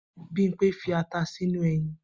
Bimpe fi ata sínú eyin